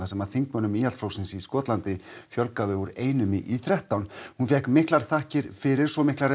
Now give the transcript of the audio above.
sem þingmönnum Íhaldsflokksins í Skotlandi fjölgaði úr einum í þrettán hún fékk miklar þakkir fyrir svo miklar